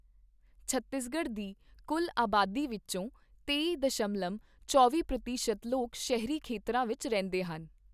ਛੱਤੀਸਗੜ੍ਹ ਦੀ ਕੁੱਲ ਅਬਾਦੀ ਵਿੱਚੋਂ ਤੇਈ ਦਸ਼ਮਲਵ ਚੌਂਵੀ ਪ੍ਰਤੀਸ਼ਤ ਲੋਕ ਸ਼ਹਿਰੀ ਖੇਤਰਾਂ ਵਿੱਚ ਰਹਿੰਦੇ ਹਨ।